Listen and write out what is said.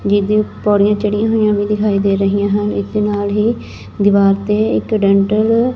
ਜਿਹਦੀ ਪੌੜੀਆਂ ਚੜੀਆਂ ਹੋਈਆਂ ਵੀ ਦਿਖਾਈ ਦੇ ਰਹੀਆਂ ਹਨ ਇਸਦੇ ਨਾਲ ਹੀ ਦੀਵਾਰ ਤੇ ਇੱਕ ਡੈਂਟਲ --